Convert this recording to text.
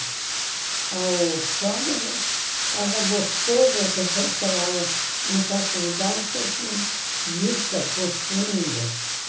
O shopping era gostoso, porque você chegava em certo lugar e você tinha vista para o fundo.